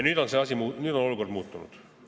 Nüüd on olukord muutunud.